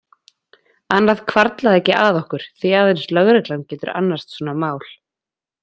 Annað hvarflaði ekki að okkur, því að aðeins lögreglan getur annast svona mál.